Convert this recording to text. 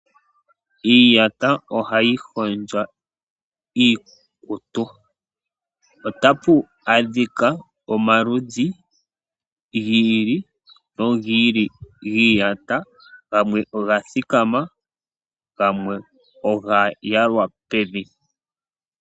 Iiyata , ohayi hondjo iikutu, otapu adhika omaludhi gi ili nogi ili giiyata, gamwe oga thikama ,gamwe oga yalwa pevi.